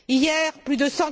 Hier, plus de